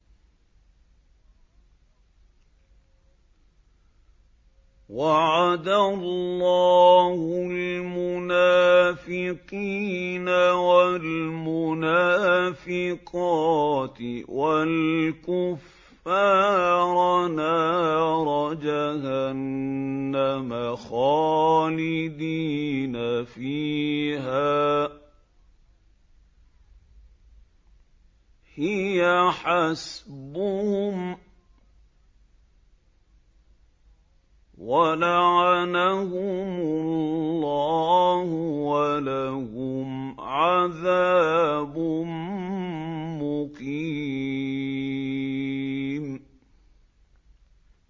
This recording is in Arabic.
وَعَدَ اللَّهُ الْمُنَافِقِينَ وَالْمُنَافِقَاتِ وَالْكُفَّارَ نَارَ جَهَنَّمَ خَالِدِينَ فِيهَا ۚ هِيَ حَسْبُهُمْ ۚ وَلَعَنَهُمُ اللَّهُ ۖ وَلَهُمْ عَذَابٌ مُّقِيمٌ